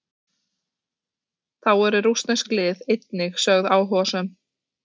Þá eru rússnesk lið einnig sögð áhugasöm.